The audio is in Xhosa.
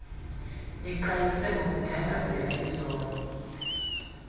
niqhayise ngokuthandazela izono